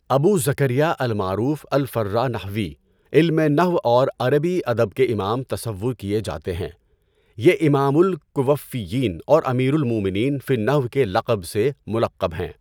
ابو زكريا المعروف الفرّاء نحوی، علمِ نَحو اور عربی ادب کے امام تصور کیے جاتے ہیں۔ یہ امام الکوفیّین اور امیر المؤمنین فی النحو کے لقب سے مُلَقَّب ہیں۔